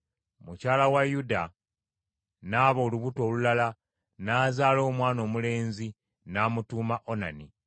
Mukyala wa Yuda n’aba olubuto olulala n’azaala omwana omulenzi n’amutuuma Onani.